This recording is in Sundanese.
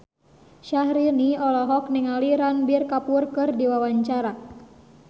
Syahrini olohok ningali Ranbir Kapoor keur diwawancara